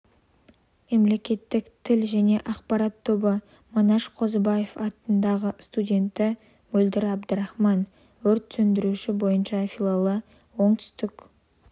мемлекеттік тіл және ақпарат тобы манаш қозыбаев атындағы студенті мөлдір абдрахман өрт сөндіруші бойынша филиалы оңтүстік